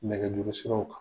Nɛgɛjurusiraw kan